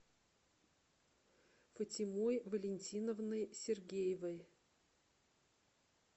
фатимой валентиновной сергеевой